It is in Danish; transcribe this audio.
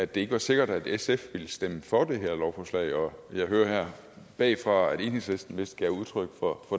det ikke var sikkert at sf ville stemme for det her lovforslag og jeg hører her bagfra at enhedslisten vist gav udtryk for